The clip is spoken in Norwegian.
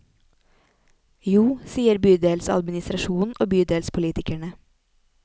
Jo, sier bydelsadministrasjonen og bydelspolitikerne.